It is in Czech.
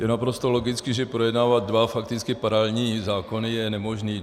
Je naprosto logické, že projednávat dva fakticky paralelní zákony je nemožné.